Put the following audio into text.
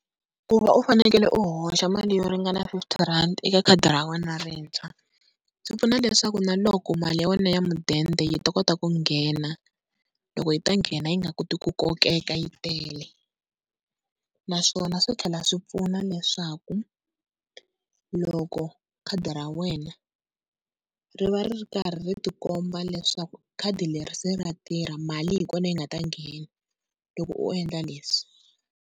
Ku va u fanekele u hoxa mali yo ringana fifty rand eka khadi ra wena rintshwa, swi pfuna leswaku na loko mali ya wena ya mudende yi ta kota ku nghena, loko yi ta nghena yi nga koti ku kokeka yi tele. Naswona swi tlhela swi pfuna leswaku loko khadi ra wena ri va ri karhi ri tikomba leswaku khadi leri se ra tirha mali hi kona yi nga ta nghena loko u endla leswi.